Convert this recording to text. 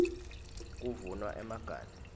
kuvunwa emaganu